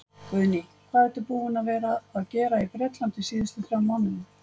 Guðný: Hvað ertu búinn að vera að gera í Bretlandi síðustu þrjá mánuði?